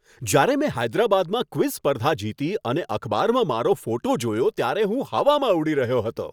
જ્યારે મેં હૈદરાબાદમાં ક્વિઝ સ્પર્ધા જીતી અને અખબારમાં મારો ફોટો જોયો ત્યારે હું હવામાં ઉડી રહ્યો હતો.